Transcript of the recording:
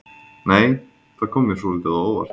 Nei! Það kom mér svolítið á óvart!